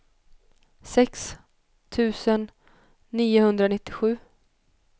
sex tusen niohundranittiosju